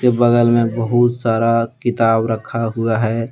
बगल में बहुत सारा किताब रखा हुआ हैं।